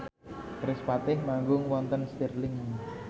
kerispatih manggung wonten Stirling